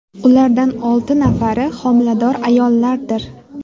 Ulardan olti nafari homilador ayollardir.